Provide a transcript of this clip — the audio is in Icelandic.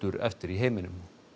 eftir í heiminum